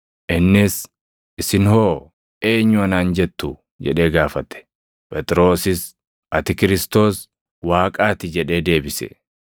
Innis, “Isin hoo? Eenyu anaan jettu?” jedhee gaafate. Phexrosis, “Ati Kiristoos + 9:20 yookaan Masiihii Waaqaa ti” jedhee deebise.